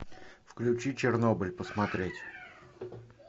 включи чернобыль посмотреть